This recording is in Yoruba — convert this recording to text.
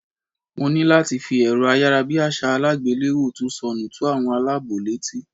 Mo ní láti fi èrọ ayárabíàṣá àgbéléwò tó sọnù tó àwọn aláàbọ̀ létí.